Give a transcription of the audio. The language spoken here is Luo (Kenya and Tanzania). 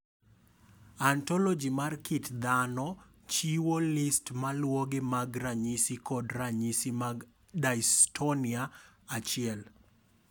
Ontoloji mar kit dhano chiwo list maluwogi mag ranyisi kod ranyisi mag dystonia 1.